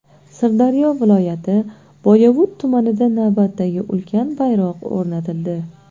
Sirdaryo viloyati Boyovut tumanida navbatdagi ulkan bayroq o‘rnatildi.